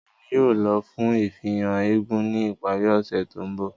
Emi yóò lọ fun ifihan éégún ni ipari ose to nbọ.